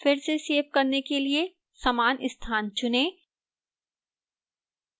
फिर से सेव करने के लिए समान स्थान चुनें